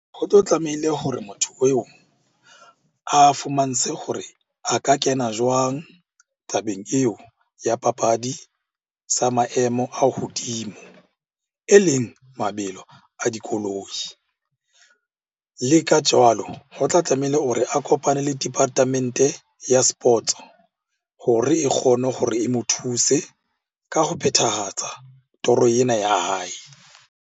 Ho tlo tlamehile hore motho eo a fumantshe hore a ka kena jwang tabeng eo ya papadi sa maemo a hodimo, e leng mabelo a dikoloi. Le ka jwalo ho tla tlameile o re a kopane le department-e ya sports-o hore e kgone gore e mo thuse ka ho phethahatsa toro ena ya hae.